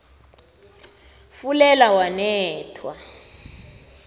fulela wanethwa